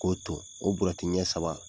K'o ton. O burɛti ɲɛ saba